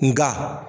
Nga